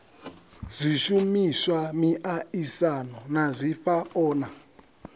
zwishumiswa miaisano na zwifhao na